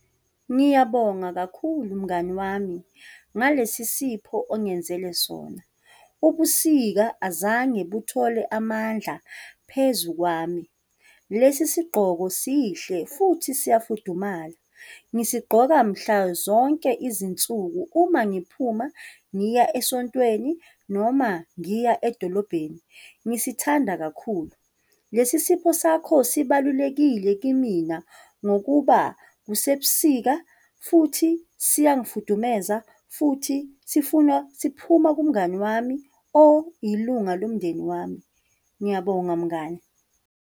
Ngiyabonga kakhulu, mngani wami ngalesi sipho ongenzele sona. Ubusika azange buthole amandla phezu kwami. Lesi sigqoko sihle futhi siyafudumala. Ngiyasigqoka mhla zonke izinsuku, uma ngiphuma ngiya esontweni noma ngiya edolobheni, ngisithanda kakhulu. Lesi sipho sakho sibalulekile kimina ngokuba kusebusika futhi siyangifudumeza futhi sifuna siphuma kumngani wami oyilunga lomndeni wami. Ngiyabonga mngani.